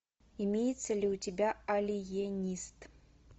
имеется ли у тебя алиенист